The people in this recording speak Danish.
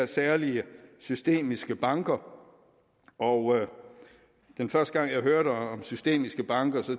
særlige systemiske banker og den første gang jeg hørte om systemiske banker